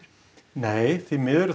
nei því miður